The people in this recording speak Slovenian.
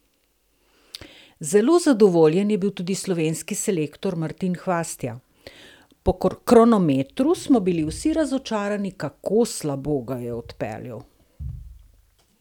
Zelo zadovoljen je bil tudi slovenski selektor Martin Hvastija: "Po kronometru smo bili vsi razočarani, kako slabo ga je odpeljal.